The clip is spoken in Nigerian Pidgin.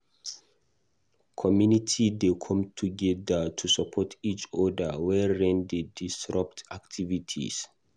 Community dey come together to support each oda wen rain dey disrupt activities.